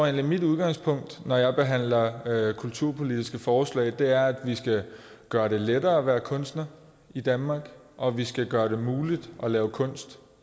at mit udgangspunkt når jeg behandler kulturpolitiske forslag er at vi skal gøre det lettere at være kunstner i danmark og at vi skal gøre det muligt at lave kunst